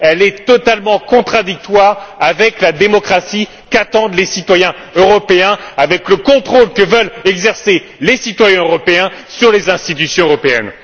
Elle est totalement contradictoire avec la démocratie qu'attendent les citoyens européens, avec le contrôle que veulent exercer les citoyens européens sur les institutions européennes.